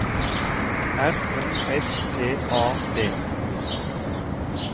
R O S T A D